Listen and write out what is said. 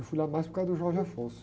Eu fui lá mais por causa do.